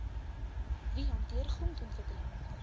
wie hanteer grondontwikkeling